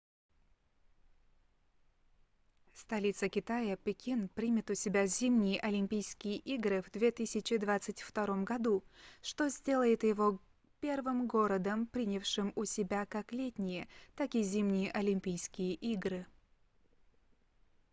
столица китая пекин примет у себя зимние олимпийские игры в 2022 году что сделает его первым городом принявшим у себя как летние так и зимние олимпийские игры